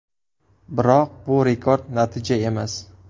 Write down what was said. Biroq bu rekord natija emas.